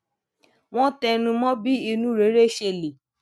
wón tẹnu mó bí inú rere ṣe lè